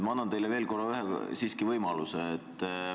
Ma annan teile ühe korra veel siiski võimaluse.